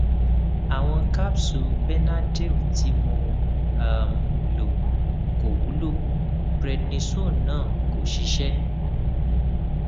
awọn capsules benadryl tí mo um lò kò wúlò prednisone náà kò ṣiṣẹ